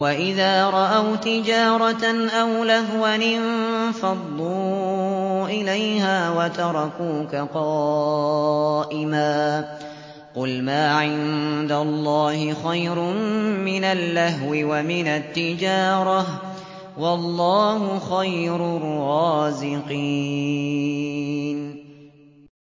وَإِذَا رَأَوْا تِجَارَةً أَوْ لَهْوًا انفَضُّوا إِلَيْهَا وَتَرَكُوكَ قَائِمًا ۚ قُلْ مَا عِندَ اللَّهِ خَيْرٌ مِّنَ اللَّهْوِ وَمِنَ التِّجَارَةِ ۚ وَاللَّهُ خَيْرُ الرَّازِقِينَ